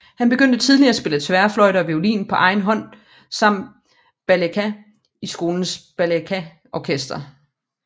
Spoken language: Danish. Han begyndte tidlig at spille tværfløjte og violin på egen hånd samt balalajka i skolens balalajkaorkester